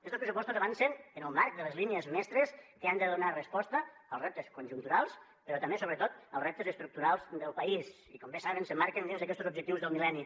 estos pressupostos avancen en el marc de les línies mestres que han de donar resposta als reptes conjunturals però també sobretot als reptes estructurals del país i com bé saben s’emmarquen dins d’aquestos objectius del mil·lenni